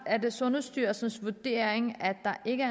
er det sundhedsstyrelsens vurdering at der ikke